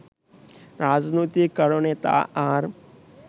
রাজনৈতিক কারণে তা আর